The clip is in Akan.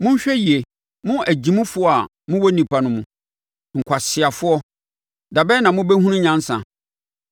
Monhwɛ yie, mo agyimifoɔ a mowɔ nnipa no mu; nkwaseafoɔ, da bɛn na mobɛhunu nyansa?